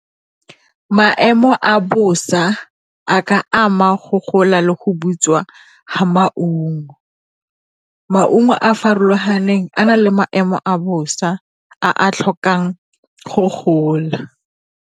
Maemo a bosa a ka ama go gola le go butswa ga maungo, maungo a a farologaneng a nang le maemo a bosa a a tlhokang go gola.